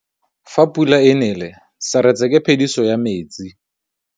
Fa pula e nelê serêtsê ke phêdisô ya metsi.